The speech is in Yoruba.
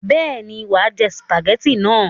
Bẹ́ẹ̀ ni, wà á jẹ sìpàgẹ́tì náà.